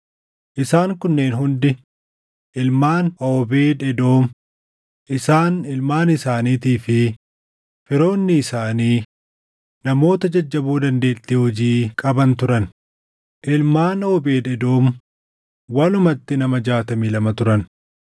Isaan kunneen hundi ilmaan Oobeed Edoom; isaan, ilmaan isaaniitii fi firoonni isaanii namoota jajjaboo dandeettii hojii qaban turan; ilmaan Oobeed Edoom; walumatti nama 62 turan.